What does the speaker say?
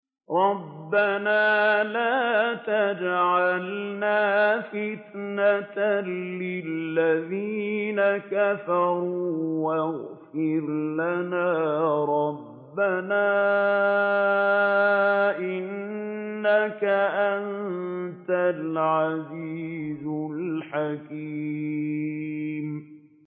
رَبَّنَا لَا تَجْعَلْنَا فِتْنَةً لِّلَّذِينَ كَفَرُوا وَاغْفِرْ لَنَا رَبَّنَا ۖ إِنَّكَ أَنتَ الْعَزِيزُ الْحَكِيمُ